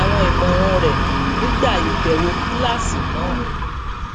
àwọn ìmọràn rẹ nígbà ìbèwò kíláàsì náà